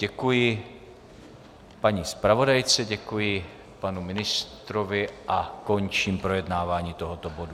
Děkuji paní zpravodajce, děkuji panu ministrovi a končím projednávání tohoto bodu.